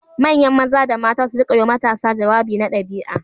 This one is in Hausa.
Manya Maza da Mata su rika yiwa matasa jawabi na ɗabi'a